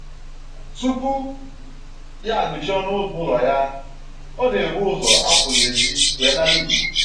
Tupu ya agụchie ọnụ ụzọ ụlọ ya, ọ na-ebu ụzọ apụ n'ezi wee nara ikuku